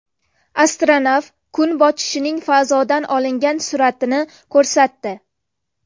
Astronavt kun botishining fazodan olingan suratini ko‘rsatdi .